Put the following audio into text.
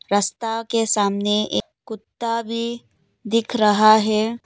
रास्ता के सामने एक कुत्ता भी दिख रहा है।